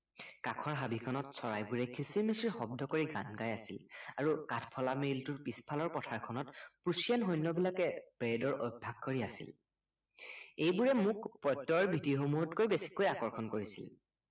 কাষৰ হাবি খনত চৰাইবোৰে কিচিৰ-মিচিৰ শব্দ কৰি গান গাই আছিল আৰু কাঠফলা মিলটোৰ পিছফালৰ পথাৰ খনত প্ৰুচিয়ান সৈন্যবিলাকে পেৰেডৰ অভ্য়াস কৰি আছিল এইবোৰে মোক প্ৰত্য়য়ৰ বিধি সমূহতকৈ বেছিকৈ আকৰ্ষণ কৰিছিল